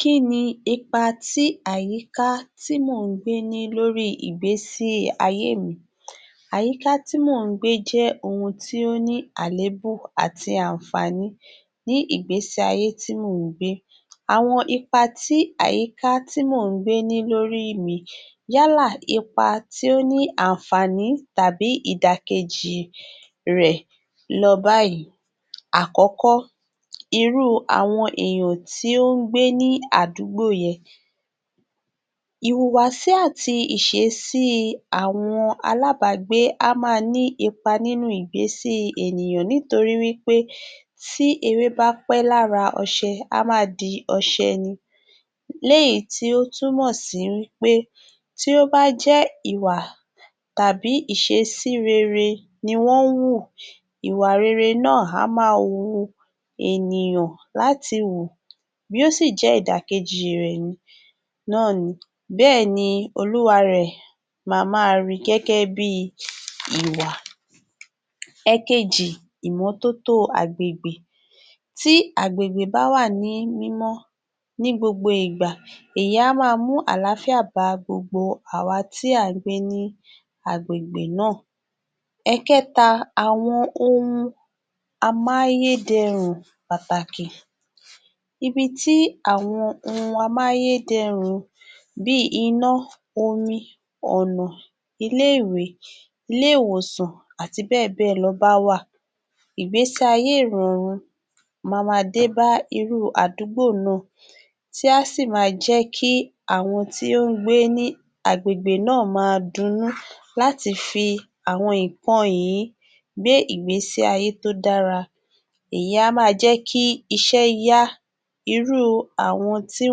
Kí ni ipa tí àyíká tí mò ń gbé ní lórí ìgbésí ayé mi? Àyíká tí mò ń gbé jẹ́ ohun tí ó ní àléébù àti àǹfààní ní ìgbésí ayé tí mò ń gbé. Àwọn ipa tí àyíká tí mò ń gbé ní lórí mi, yálà ipa tí ó ní ànfàní tàbí ìdàkejì I rẹ lọ báyìí. Àkọ́kọ́, irú u àwọn èèyàn tí ó ń gbé ní àdúgbò yẹn. Ìhùwàsí àti ìṣesí I àwọn aláàbágbé á máa ní ipa nínú un ìgbésí i ènìyàn nítorí wí pé tí ewé bá pẹ́ lára Ọṣẹ, á máa di Ọṣẹ ni, léyìí tí ó túmọ sí wí pé, tí ó bá jẹ́ ìwà tàbí ìṣesí rere ní Wọ́n ń wù, ìwà rere náà á máa wu ènìyàn láti wù. Bí ó sì jẹ́ ìdàkejì rẹ̀ ni, náà ni, bẹ́ẹ̀ni Olúwa rẹ̀ máa rí gẹ́gẹ́ bí i ìwà. Ẹẹkeji, imọ́tótó o àgbègbè. Tí àgbègbè bá wà ní mímọ́ ní gbogbo ìgbà, èyí á máa mú àlááfíà bá gbogbo àwa tí à ń gbé ní àgbègbè náà. Ẹẹ̀kẹ́ta, àwọn ohun amáyédẹrùn pàtàkì. Ibi tí àwọn ohun amáyé dẹrùn pàtàkì. Ibi tí àwọn ohun amáyé dẹrùn un bíi iná, omi, Ọ̀nà ilé - ìwé, ilé ìwòsàn àti bẹ́ẹ̀bẹ́ẹ̀ lọ bá wà, ìgbésí ayé ìrọ̀rùn ma maa dé ba irú u àdúgbò náà tí a sì máa jẹ́ kí àwọn tí ó ń gbé ní àgbègbè náà máa dunnú láti fi àwọn ìǹkan yìí gbé ègbésí ayé tó dára. Èyí í á máa jẹ́ kí iṣẹ́ yá. Irú u àwọn tí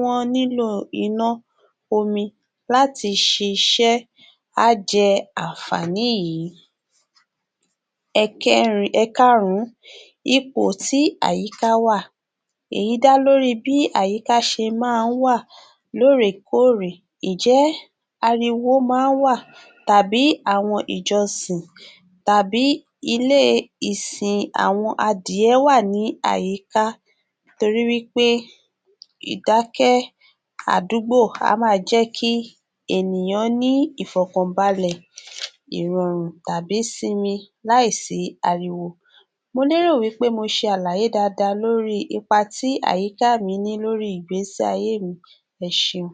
wọ̀n nílò o iná, omi láti ṣiṣẹ́ á jẹ ànfàní yìí. Ẹẹ̀kẹrin, ẹ̀ẹ̀karùn ún, ipò tí àyíká wà. Èyí dá lórí i bí àyíká ṣe máa ń wà ló rè kó òrè, ìjẹ́ ariwo máa ń wà tàbí àwọn ìjọsìn tàbí ilé e ìsin in àwọn adiyẹ wà ní àyíká? Torí wí pé, ìdákẹ́ àdúgbò a máa jẹ́ kí ènìyàn ní ìfọ̀kànbalẹ ìrọ̀rùn tàbí sinmi láìsí ariwo mo lé rò wí pé mo ṣe àlàyé daadaa lórí ipa tí àyíká mi ní lórí ìgbésí ayé mi. Ẹ ṣeun.